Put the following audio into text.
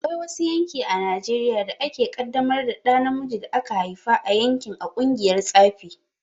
Akwai wasu yanki a Najeriya da ake kaddamar da ɗa namijin da aka haifa a yankin a ƙungiyar tsafi.